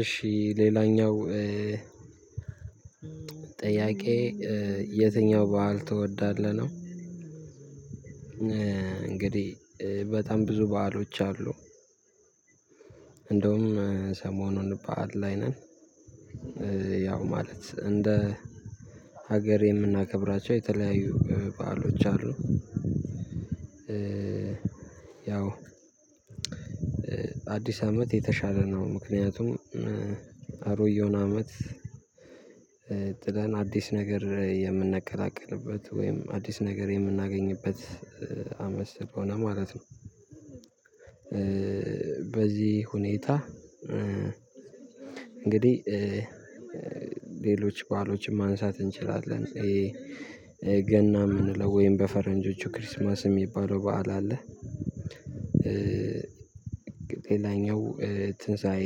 እሺ ሌላኛው ጥያቄ የትኛው በዓል ትወዳለህ ነው? እንግዲህ በጣም ብዙ በዓሎች አሉ። እንደውም ሰሞኑን ባእል ላይ ነን። ያው ማለት እንደ ሀገር የምናከብራቸው የተለያዩ በዓሎች አሉ። ያው አዲስ አመት የተሻለ ነው ምክንያቱም አሮጌውን አመት ጥለን አዲስ ነገር የምንቀላቀልበት ወይም አዲስ ነገር የምናገኝበት አመት ስለሆነ ማለት ነው። በዚህ ሁኔታ እንግዲህ ሌሎች በዓሎችን ማንሳት እንችላለን ይሄ ገና የምንለው ወይም በፈረንጆቹ ክሪስማስ የሚባለው በዓል አለ። ሌላኛው ትንሳኤ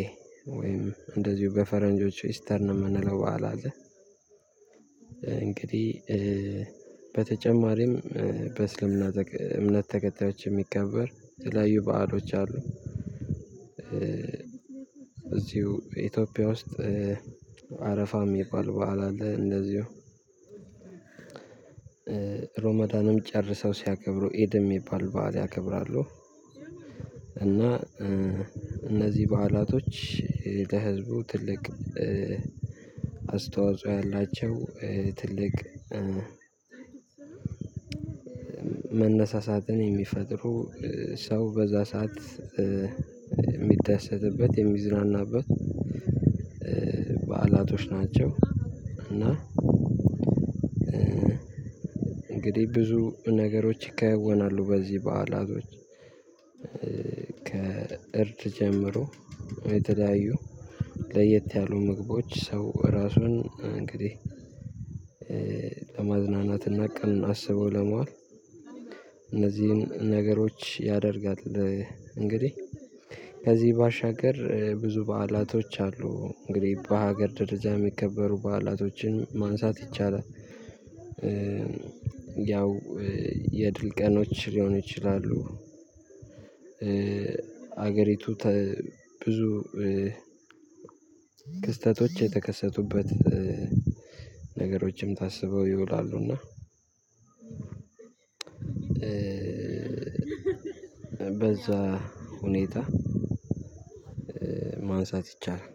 ወይም እንደዚሁ በፈረንጆቹ ኢስተር ነው የምንለው በዓል አለ። እንግዲህ በተጨማሪም በእስልምና እምነት ተከታዮች የሚከበር የተለያዩ በዓሎች አሉ። እዚሁ ኢትዮጵያ ውስጥ አረፋ የሚባል በዓል አለ። እንደዚሁ ሮማዳንም ጨርሰው ሲያከብሩ ኢድ የሚባል በዓል ያከብራሉ። እና እነዚህ በዓላቶች ለህዝቡ ትልቅ አስተዋጽኦ ያላቸው ትልቅ መነሳሳትን የሚፈጥሩ ሰው በዛ ሰዓት የሚደሰትበት የሚዝናናበት በዓላቶች ናቸው። እና እንግዲህ ብዙ ነገሮች ይከናወናሉ በዚህ በዓላቶች። ከእርድ ጀምሮ የተለያዩ ለየት ያሉ ምግቦች ሰው ራሱን እንግዲህ ለማዝናናትና ቀኑን አስበው ለመዋል እነዚህን ነገሮች ያደርጋል። እንግዲህ ከዚህ ባሻገር ብዙ በዓላቶች አሉ እንግዲህ በሀገር ደረጃ የሚከበሩ በዓላቶችን ማንሳት ይቻላል። ያው የድል ቀኖች ሊሆኑ ይችላሉ። ሀገሪቱ ተ ብዙ ክስተቶች የተከሰቱበት ነገሮችም ታስበው ይውላሉና እና በዛ ሁኔታ ማንሳት ይቻላል።